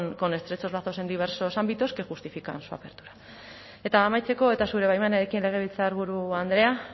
con estrechos lazos en diversos ámbitos que justifican su apertura eta amaitzeko eta zure baimenarekin legebiltzarburu andrea